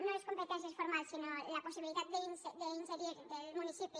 no les competències formals sinó la possibilitat d’ingerir del municipi